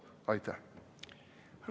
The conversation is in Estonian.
Aitäh!